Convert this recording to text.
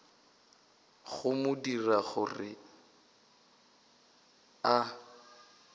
go mo dira gore a